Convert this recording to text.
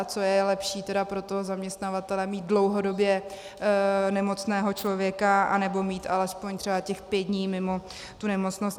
A co je lepší tedy pro toho zaměstnavatele - mít dlouhodobě nemocného člověka, anebo mít alespoň třeba těch pět dní mimo tu nemocnost?